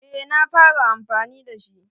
Eh na fara amfani da shi.